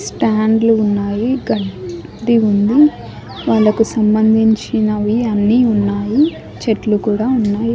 స్టాండ్లు ఉన్నాయి గడ్డి ఉంది వాళ్లకు సంబంధించినవి అన్నీ ఉన్నాయి చెట్లు కూడా ఉన్నాయి.